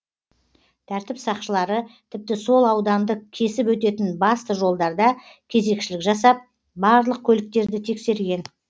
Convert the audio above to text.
тәртіп сақшылары тіпті сол ауданды кесіп өтетін басты жолдарда кезекшілік жасап барлық көліктерді тексерген